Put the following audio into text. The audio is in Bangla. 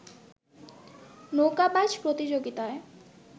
নৌকা বাইচ প্রতিযোগিতায়